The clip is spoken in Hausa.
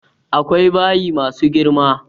Akwai bayi ma su girma.